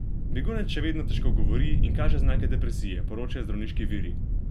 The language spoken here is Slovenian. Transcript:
Begunec še vedno težko govori in kaže znake depresije, poročajo zdravniški viri.